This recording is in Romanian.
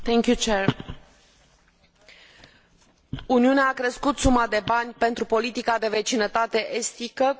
Uniunea a crescut suma de bani pentru politica de vecinătate estică cu 1,24 miliarde EUR.